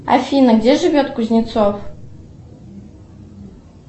афина где живет кузнецов